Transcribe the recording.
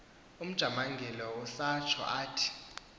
ujamangile usatsho athi